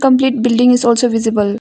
Complete building is also visible.